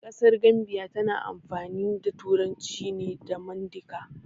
A ƙasar Gambiya tana amfani da turanci ne da mandika